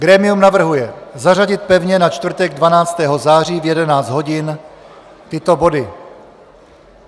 Grémium navrhuje zařadit pevně na čtvrtek 12. září v 11 hodin tyto body: